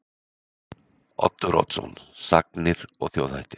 Oddur Oddsson: Sagnir og þjóðhættir.